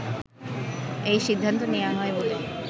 এ সিদ্ধান্ত নেয়া হয় বলে